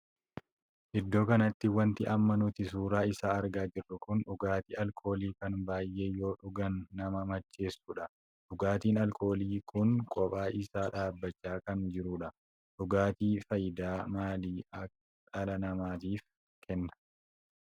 Iddoo kanatti wanti amma nuti suuraa isaa argaa jirru kun dhugaatii alkoolii kan baay'ee yoo dhugaan nama macheesudha. dhugaatiin alkoolii kun qophaa isaa dhaabbachaa kan jirudha. dhugaatii faayidaa maalii dhala namaatiif kenna?